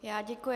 Já děkuji.